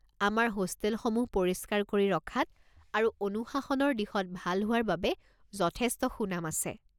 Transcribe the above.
আমাৰ হোষ্টেলসমূহ পৰিস্কাৰ কৰি ৰখাত আৰু অনুশাসনৰ দিশত ভাল হোৱাৰ বাবে যথেষ্ট সুনাম আছে।